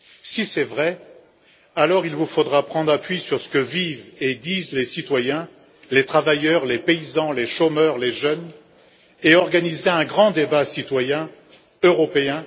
Si c'est vrai, alors il vous faudra prendre appui sur ce que vivent et disent les citoyens les travailleurs, les paysans, les chômeurs, les jeunes et organiser un grand débat citoyen européen